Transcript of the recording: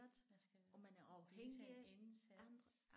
Jeg skal lægge sig en indsats